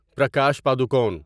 Prakash Padukone